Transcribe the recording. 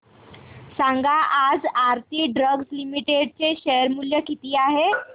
सांगा आज Aarti drugs limited चे शेअर मूल्य किती आहे